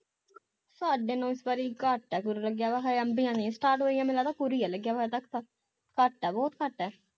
ਸਾਡੇ ਨੂੰ ਇਸ ਵਾਰੀ ਘੱਟ ਆ ਲੱਗਿਆ ਹਜੇ ਅੰਬੀਆਂ ਨੀ start ਹੋਈਆ ਮੈਨੂੰ ਲੱਗਦਾ ਹੀ ਲੱਗਿਆ ਹਜੇ ਤਕ ਤਾ ਘੱਟ ਆ ਬਹੁਤ ਘੱਟ ਆ